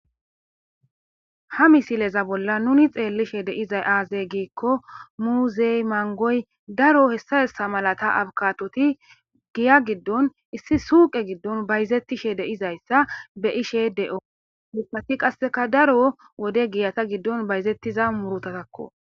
ha misileza bolla nuni xeellishe deiza aazey giikko muuzey mangoy daro hessa hessa malata abkatoti giya giddon issi suuqe giddon bayzettishe deizayssa be ishe de7o mipati qasseka daro wode giyata giddon bayzettiza murutatakko